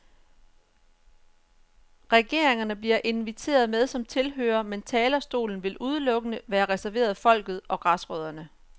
Regeringerne bliver inviteret med som tilhørere, men talerstolen vil udelukkende være reserveret folket og græsrødderne.